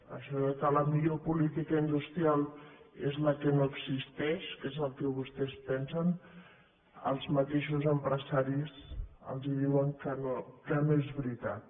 això que la millor política industrial és la que no existeix que és el que vostès pensen els mateixos empresaris els diuen que no és veritat